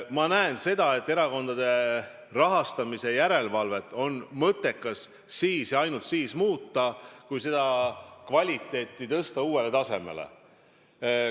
Ma näen seda, et erakondade rahastamise järelevalvet on mõttekas ainult selleks muuta, et selle tegevuse kvaliteeti uuele tasemele tõsta.